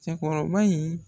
Cɛkɔrɔba in